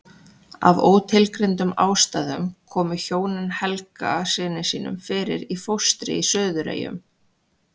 Af ótilgreindum ástæðum komu hjónin Helga syni sínum fyrir í fóstri í Suðureyjum.